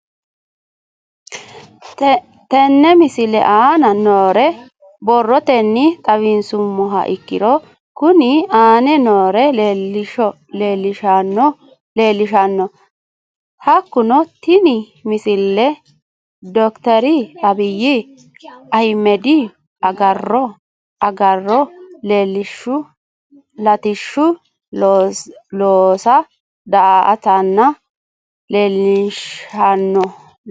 Tenne misile aana noore borrotenni xawisummoha ikirro kunni aane noore leelishano. Hakunno tinni misile dr abiy ahimedihu agaaro lattishshu loosa da'atanna leelishshanno.